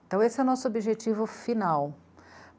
Então esse é o nosso objetivo final.